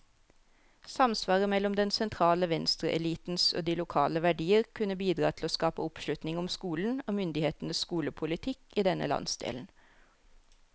Samsvaret mellom den sentrale venstreelitens og de lokale verdier kunne bidra til å skape oppslutning om skolen, og myndighetenes skolepolitikk i denne landsdelen.